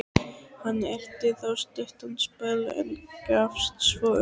Hann elti þá stuttan spöl, en gafst svo upp.